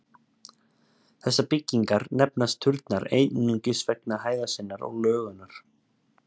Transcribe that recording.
Þessar byggingar nefnast turnar einungis vegna hæðar sinnar og lögunar.